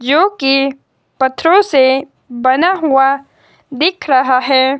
UK पत्थरों से बना हुआ दिख रहा है।